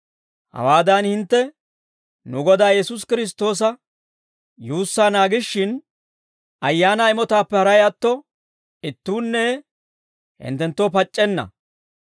Hawaadan hintte nu Godaa Yesuusi Kiristtoosa yuussaa naagishin, ayaanaa imotaappe haray atto ittuunne hinttenttoo pac'c'enna.